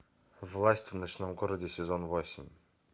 власть в ночном городе сезон восемь